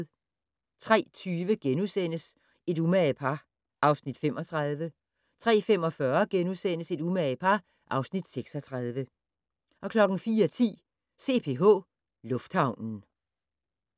03:20: Et umage par (Afs. 35)* 03:45: Et umage par (Afs. 36)* 04:10: CPH Lufthavnen